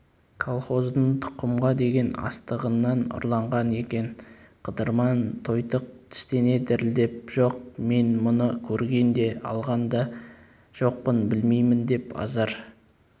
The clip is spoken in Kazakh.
колхоздың тұқымға деген астығынан ұрланған екен қыдырман тойтық тістене дірілдеп жоқ мен мұны көрген де алған да жоқпын білмеймін деп азар